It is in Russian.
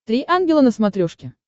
три ангела на смотрешке